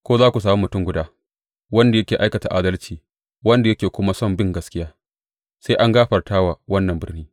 Ko za ku sami mutum guda wanda yake aikata adalci wanda yake kuma son bin gaskiya, sai in gafarta wa wannan birni.